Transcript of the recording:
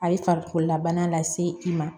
A ye farikololabana lase i ma